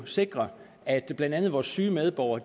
sikrer at blandt andet vores syge medborgere